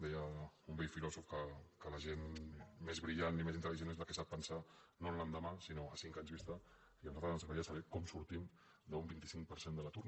deia un vell filòsof que la gent més brillant i més intel·ligent és la que sap pensar no en l’endemà sinó a cinc anys vis·ta i a nosaltres ens agradaria saber com sortim d’un vint cinc per cent de l’atur